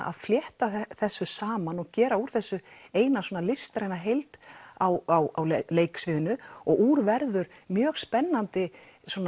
að flétta þessu saman og gera úr þessu eina listræna heild á leiksviðinu og úr verður mjög spennandi